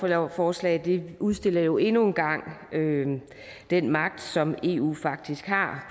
lovforslag udstiller jo endnu en gang den magt som eu faktisk har